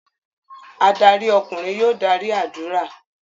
Adarí ọkùnrin yóò darí ádùrá.